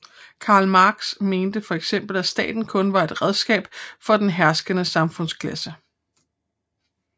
Karl Marx mente for eksempel at staten kun var et redskab for den herskende samfundsklasse